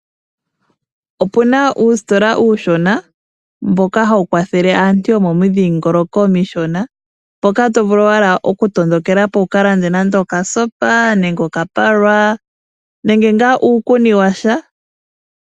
Opu na uusitola uushona mboka ha wu kwathele aantu yomomidhingoloko omishona, mpoka to vulu owala okutondokelapo wu ka lande nande okasopa nenge okapalwa nenge ngaa uukuni washa.